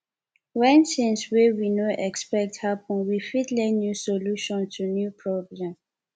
when things wey we no expect happen we fit learn new solution to new problem